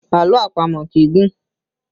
Àlọ́ àpamọ̀ kì í gùn